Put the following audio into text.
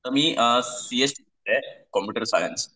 आता मी C S student आहे कॉम्प्युटर सायन्स.